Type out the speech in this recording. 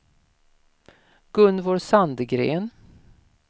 Gunvor Sandgren